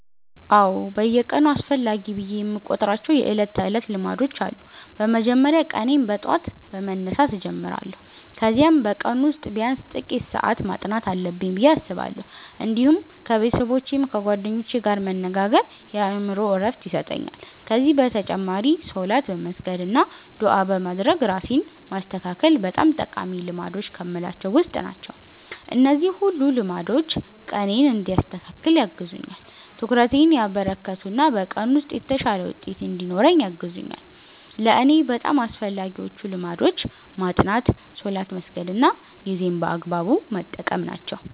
አዎ፣ በየቀኑ አስፈላጊ ብዬ የምቆጥራቸው የዕለት ተዕለት ልማዶች አሉ። በመጀመሪያ ቀኔን በጠዋት በመነሳት እጀምራለሁ፣ ከዚያም በቀኑ ውስጥ ቢያንስ ጥቂት ሰዓት ማጥናት አለብኝ ብዬ አስባለሁ። እንዲሁም ከቤተሰቦቼ ወይም ከጓደኞቼ ጋር መነጋገር የአእምሮ ዕረፍት ይሰጠኛል። ከዚህ በተጨማሪ ሶላት በመስገድ አና ዱዓ በማድረግ ራሴን ማስተካከል በጣም ጠቃሚ ልማዶች ከምላቸዉ ዉስጥ ናቸው። እነዚህ ሁሉ ልማዶች ቀኔን እንዲያስተካክል ያግዙኛል፣ ትኩረቴን ያበረከቱ እና በቀኑ ውስጥ የተሻለ ውጤት እንድኖረኝ ያግዙኛል። ለእኔ በጣም አስፈላጊዎቹ ልማዶች ማጥናት፣ ሶላት መስገድ እና ጊዜን በአግባቡ መጠቀም ናቸው።